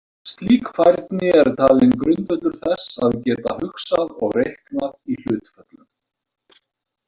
Slík færni er talin grundvöllur þess að geta hugsað og reiknað í hlutföllum.